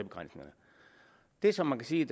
det som man kan sige